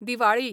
Diwali